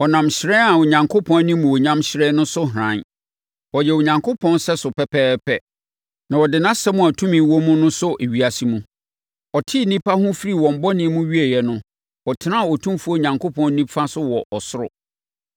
Ɔnam hyerɛn a Onyankopɔn animuonyam hyerɛn no so hran. Ɔyɛ Onyankopɔn sɛso pɛpɛɛpɛ, na ɔde nʼasɛm a tumi wɔ mu no sɔ ewiase mu. Ɔtee nnipa ho firii wɔn bɔne mu wieeɛ no, ɔtenaa Otumfoɔ Onyankopɔn nifa so wɔ ɔsoro.